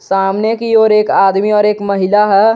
सामने की ओर एक आदमी और एक महिला है।